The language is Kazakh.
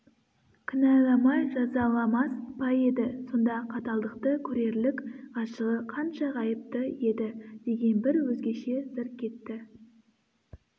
кінәламай жазаламас па еді сондай қаталдықты көрерлік ғашығы қанша ғайыпты еді деген бір өзгеше сыр кетті